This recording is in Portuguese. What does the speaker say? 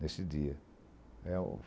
Nesse dia. É o